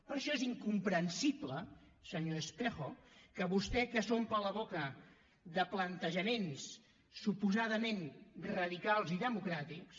per això és incomprensible senyor espejo que vostè que s’omple la boca de plantejaments suposadament radicals i democràtics